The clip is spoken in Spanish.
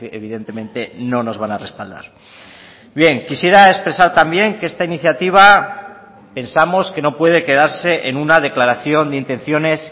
evidentemente no nos van a respaldar bien quisiera expresar también que esta iniciativa pensamos que no puede quedarse en una declaración de intenciones